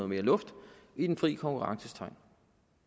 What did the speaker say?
mere luft i den frie konkurrences tegn